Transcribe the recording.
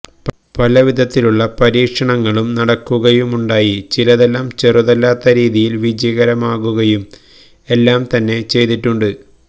പല വിധത്തിലുള്ള പരീക്ഷണങ്ങളും നടക്കുകയുമുണ്ടായി ചിലതെല്ലാം ചെറുതല്ലാത്ത രീതിയിൽ വിജയകരമാകുകയും എല്ലാം തന്നെ ചെയ്തിട്ടുണ്ട്